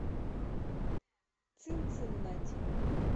цинциннати